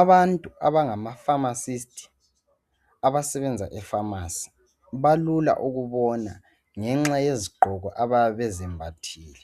Abantu abangamaphamacist abasebenza ephamarcy balula ukubona ngenxa yezigqoko abayabe bezembathile